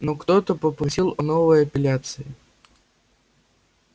но ктото просил о новой апелляции